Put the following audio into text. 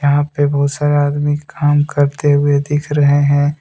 यहां पे बहुत सारे आदमी काम करते हुए दिख रहे हैं।